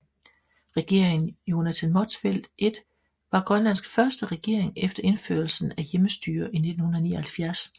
Regeringen Jonathan Motzfeldt I var Grønlands første regering efter indførelse af hjemmestyre i 1979